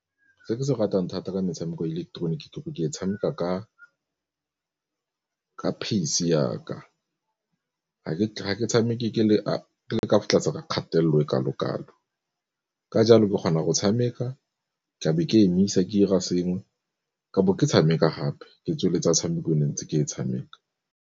Se ke se ratang thata ka metshameko ileketeroniki go ke e tshameka ka pace ya ka ga ke tshameke ke le kwa tlase kgatelelo e kalo-kalo, ka jalo ke kgona go tshameka tlabe ke emisa ke 'ira sengwe ke bo ke tshameka gape ke tsweletsa tshameko ntse ke e tshameka.